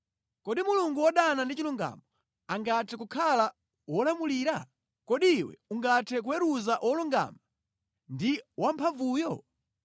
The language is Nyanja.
Kodi Mulungu wodana ndi chilungamo angathe kukhala wolamulira? Kodi iwe ungathe kuweruza Wolungama ndi Wamphamvuyo?